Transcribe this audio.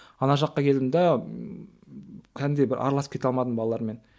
ана жаққа келдім де кәдімгідей бір араласып кете алмадым балалармен